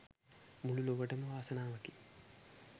මුළු ලොවටම වාසනාවකි